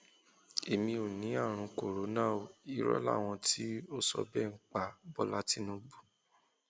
èmi ò ní àrùn cs] corona o irọ làwọn tó sọ bẹẹ ń pa bọlá tìǹbù